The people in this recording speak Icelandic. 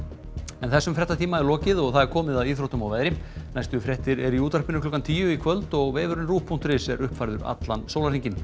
þessum fréttatíma er lokið og komið að íþróttum og veðri næstu fréttir eru í útvarpinu klukkan tíu í kvöld og vefurinn ruv punktur is er uppfærður allan sólarhringinn